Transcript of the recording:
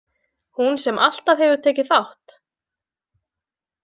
Hún sem alltaf hefur tekið þátt.